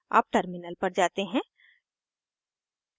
अब terminal पर जाते हैं